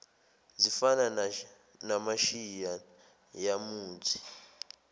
zifana namashiya yamuthi